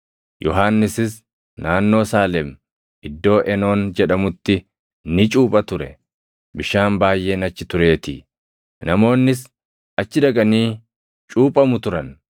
Yohannisis naannoo Saalem iddoo Enoon jedhamutti ni cuupha ture; bishaan baayʼeen achi tureetii; namoonnis achi dhaqanii cuuphamu turan.